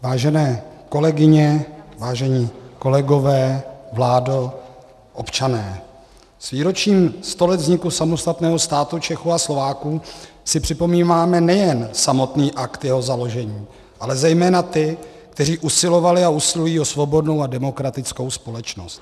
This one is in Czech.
Vážené kolegyně, vážení kolegové, vládo, občané, s výročím sto let vzniku samostatného státu Čechů a Slováků si připomínáme nejen samotný akt jeho založení, ale zejména ty, kteří usilovali a usilují o svobodnou a demokratickou společnost.